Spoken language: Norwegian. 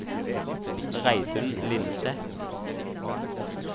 Reidun Lindseth